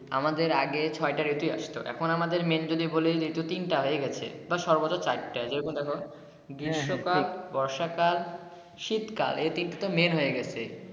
আমাদের আগে ছয়টা ঋতু আসতো এখন আমাদের main যদি বলি ঋতু তিনটা হয়ে গেছে বা সর্বোচ্চ চার টা দেখো গ্রীষ্ম কাল বর্ষা কাল শীত কাল এ তিন টা main হয়ে গেছে।